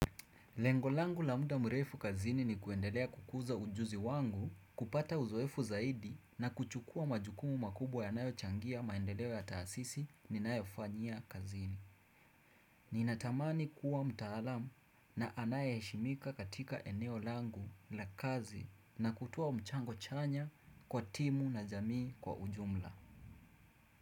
Lengo langu la muda mrefu kazini ni kuendelea kukuza ujuzi wangu, kupata uzoefu zaidi na kuchukua majukumu makubwa yanayochangia maendeleo ya taasisi ninayofanyia kazini. Ninatamani kuwa mtaalamu na anayeheshimika katika eneo langu la kazi na kutoa mchango chanya kwa timu na jamii kwa ujumla.